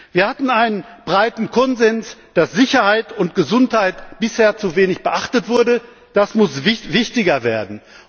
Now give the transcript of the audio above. Wir hatten einen breiten Konsens, dass Sicherheit und Gesundheit bisher zu wenig beachtet wurden das muss wichtiger werden.